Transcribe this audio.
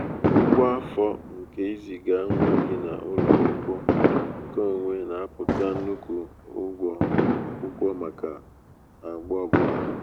ụgwọ afọ nke iziga nwa gị n'ụlọ akwụkwọ nke onwe na aputa nnukwu ụgwọ akwukwo maka agba obula